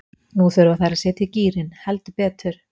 Nú þurfa þær að setja í gírinn, heldur betur.